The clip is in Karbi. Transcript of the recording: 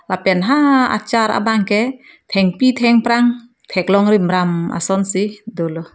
lapen ha achar abang ke thengpi thengprang theklong rimram asonsi dolo.